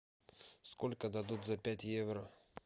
сколько дадут за пять евро